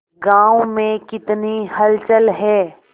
गांव में कितनी हलचल है